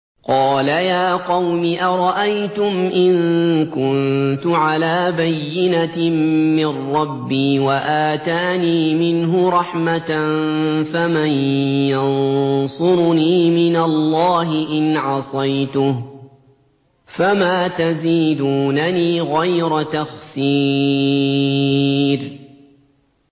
قَالَ يَا قَوْمِ أَرَأَيْتُمْ إِن كُنتُ عَلَىٰ بَيِّنَةٍ مِّن رَّبِّي وَآتَانِي مِنْهُ رَحْمَةً فَمَن يَنصُرُنِي مِنَ اللَّهِ إِنْ عَصَيْتُهُ ۖ فَمَا تَزِيدُونَنِي غَيْرَ تَخْسِيرٍ